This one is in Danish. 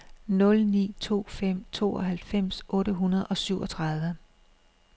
nul ni to fem tooghalvfems otte hundrede og syvogtredive